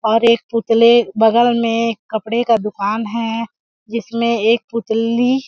और एक पुतले बगल में कपड़े का दुकान है जिसमें एक पुतली--